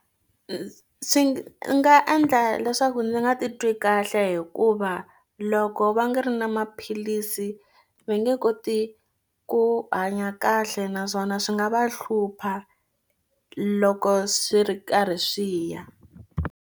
Swi nga endla leswaku ndzi nga titwi kahle hikuva loko va nga ri na maphilisi va nge koti ku hanya kahle naswona swi nga va hlupha loko swi ri karhi swi ya.